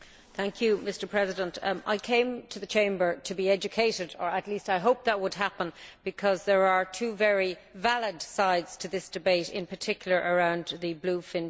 Mr President, I came to the Chamber to be educated, or at least I hoped that would happen, because there are two very valid sides to this debate, in particular, concerning bluefin tuna.